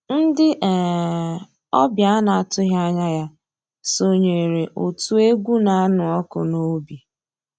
Ndị́ um ọ̀bịá á ná-àtụ́ghị́ ànyá yá sonyééré ótú égwu ná-ànụ́ ọ́kụ́ n'òbí.